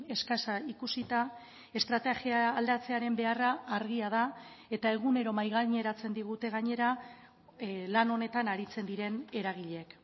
eskasa ikusita estrategia aldatzearen beharra argia da eta egunero mahai gaineratzen digute gainera lan honetan aritzen diren eragileek